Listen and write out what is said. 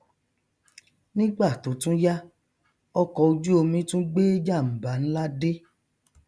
nígbà tó tún yá ọkọ ojú omi tún gbé jàmbá nlá dé